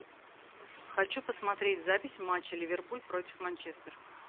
хочу посмотреть запись матча ливерпуль против манчестер